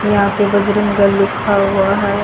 यहां पर बजरंगगढ़ लिखा हुआ है।